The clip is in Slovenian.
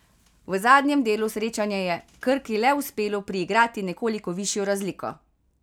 V zadnjem delu srečanja je Krki le uspelo priigrati nekoliko višjo razliko.